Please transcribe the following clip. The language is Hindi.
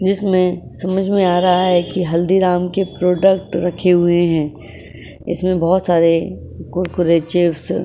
जिसमें समझ में आ रहा है की हल्दीराम के प्रोडक्ट रखे हुए है इसमें बहुत सारे कुरकुरे चिप्स --